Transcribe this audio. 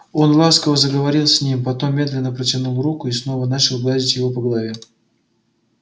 он ласково заговорил с ним потом медленно протянул руку и снова начал гладить его по голове